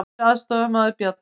Nýr aðstoðarmaður Bjarna